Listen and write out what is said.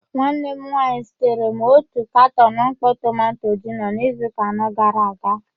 Nwanne m nwanyị zitere m otu katọn mkpọ tomanto gino n'izuụka anọ gara aga.